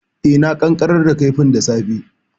E, na ƙanƙarar da kifin da safe.